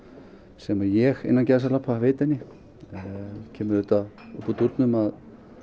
sem að ég innan gæsalappa veiti henni það kemur upp úr dúrnum að